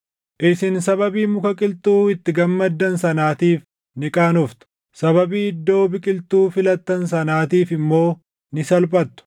“Isin sababii muka qilxuu itti gammaddan sanaatiif ni qaanoftu; sababii iddoo biqiltuu filattan sanaatiif immoo ni salphattu.